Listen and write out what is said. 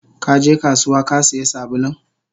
Kaje kasuwa Kasiya sabulun?